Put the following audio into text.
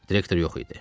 Direktor yox idi.